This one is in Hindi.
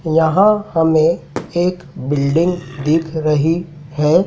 यहां हमें एक बिल्डिंग दिख रही है।